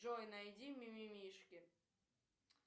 джой найди мимимишки